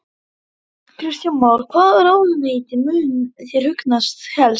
Emil Pálsson Fallegasti knattspyrnumaðurinn í ensku úrvalsdeildinni?